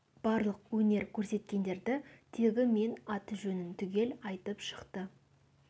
барлық өнер көрсеткендерді тегі мен аты жөнін түгел айтып шықты